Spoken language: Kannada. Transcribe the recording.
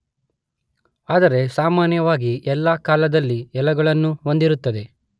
ಆದರೆ ಸಾಮಾನ್ಯವಾಗಿ ಎಲ್ಲ ಕಾಲದಲ್ಲೂ ಎಲೆಗಳನ್ನು ಹೊಂದಿರುತ್ತದೆ.